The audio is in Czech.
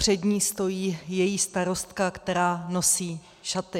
Před ní stojí její starostka, která nosí šaty.